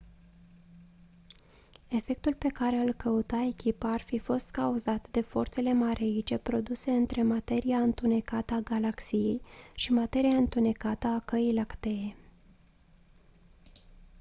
efectul pe care îl căuta echipa ar fi fost cauzat de forțele mareice produse între materia întunecată a galaxiei și materia întunecată a căii lactee